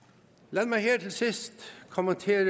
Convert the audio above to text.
lad mig her til sidst kommentere